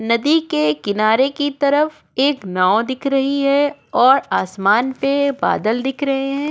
नदी के किनारे की तरफ एक नाव दिख रही है और आसमान पे बादल दिख रहे हैं।